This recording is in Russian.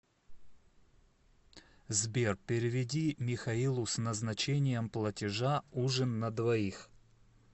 сбер переведи михаилу с назначением платежа ужин на двоих